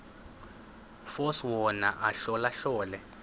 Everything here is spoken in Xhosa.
force wona ahlolahlole